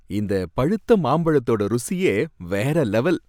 இந்த பழுத்த மாம்பழத்தோட ருசியே வேற லெவல்.